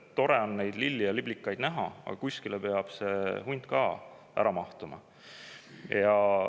Tore on neid lilli ja liblikaid näha, aga kuskile peab hunt ka ära mahtuma.